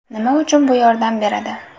Nima uchun bu yordam beradi?